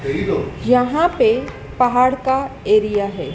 यहां पे पहाड़ का एरिया है।